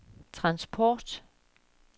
transport